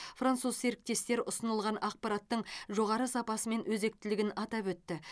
француз серіктестер ұсынылған ақпараттың жоғары сапасы мен өзектілігін атап өтті